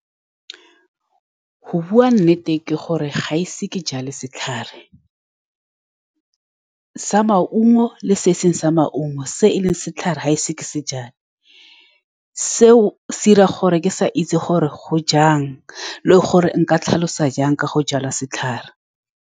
Go bua nnete ke gore ga ise ke jale setlhare sa maungo le se e seng sa maungo. Se e leng setlhare ga ise ke se jale. Seo se dira gore ke sa itse gore go jang, le gore nka tlhalosa jang ka go jala setlhare.